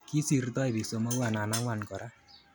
Kisirtoi bik somok anan angwan kora